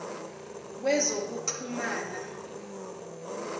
wezokuxhumana